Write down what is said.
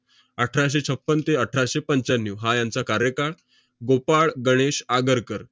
अठराशे छपन्न ते अठराशे पंच्याण्णव हा यांचा कार्यकाळ. गोपाळ गणेश आगरकर.